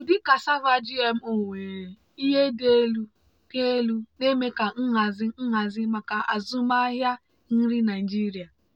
ụdị cassava gmo nwere ihe dị elu dị elu na-eme ka nhazi nhazi maka azụmahịa nri nigeria.